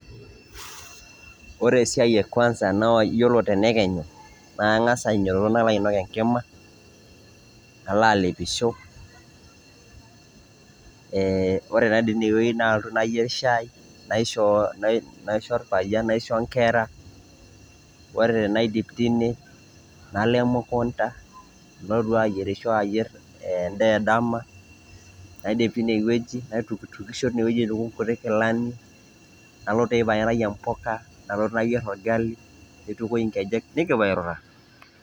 Ore esia e kwanza naa iyiolo te nekenyu ning'asa ainyototo nalo ainok enkima, nalo alepisho, ee ore taa tine wuei nalotu nayer shai, naisho orpayian, naisho nkera, ore tenaidip tine nalo emukunda, nalotu ayerisho ayer endaa edama, naidip tine wueji, naitukishotukisho tine wueji aituku nkuti kilani, nalo teipa nayiaraki mboka nalotu nayer oragali, nitukui nkejek, nekipuo airura.